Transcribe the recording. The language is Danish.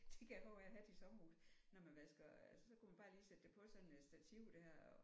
Det kan jeg huske jeg havde i sommerhuset når man vasker så kunne man bare lige sætte det på sådan et stativ der